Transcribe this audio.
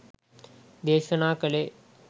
දේශනා කලේ.